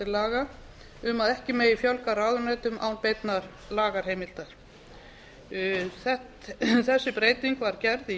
laga um að ekki fjölga ráðuneytum án beinnar lagaheimildar þessi breyting var gerð í